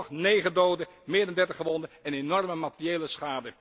Gevolg negen doden, meer dan dertig gewonden en enorme materiële schade.